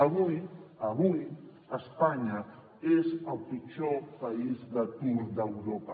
avui avui espanya és el pitjor país d’atur d’europa